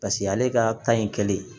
Paseke ale ka kan ye kelen ye